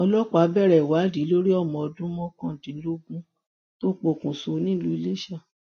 ọlọpàá bẹrẹ ìwádìí lórí ọmọ ọdún mọkàndínlógún tó pokùṣọ nílùú iléṣà